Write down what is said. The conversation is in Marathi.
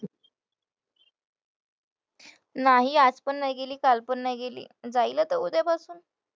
नाही आज पण नाही गेली, काल पण नाही गेली, जाईल आता उद्यापासून.